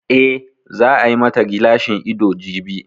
Eh, za a yi ma ta gilashin ido jibi